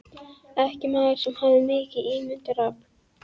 Ekki maður sem hafði mikið ímyndunarafl.